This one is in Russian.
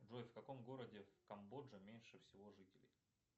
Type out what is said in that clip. джой в каком городе в камбоджа меньше всего жителей